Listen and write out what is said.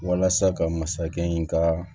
Walasa ka masakɛ in ka